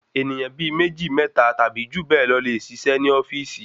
Ènìyàn bíi méjì mẹ́ta tàbí jù bẹ lọ le ṣiṣẹ́ ni ofíìsì